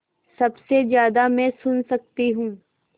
सबसे ज़्यादा मैं सुन सकती हूँ